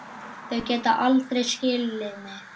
Þau geta aldrei skilið mig.